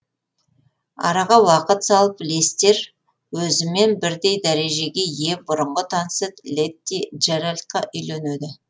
араға уақыт салып лестер өзімен бірдей дәрежеге ие бұрынғы танысы летти джеральдқа үйленеді